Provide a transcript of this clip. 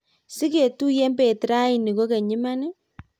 sigetuyen bet raini kokeny iman?